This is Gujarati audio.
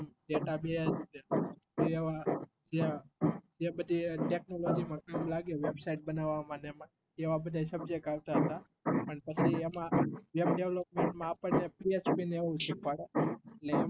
જે બધી technology આપને લાગ્યું website બનાવ મા ને એમાં એવા બધા subject આવતા તા પણ પછી એમાં web development માં આપણે પી એચ ને એવું શીખવાડે